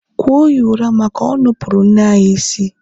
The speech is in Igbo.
kụọ ya ụra maka o nupụrụ nne anyị isi!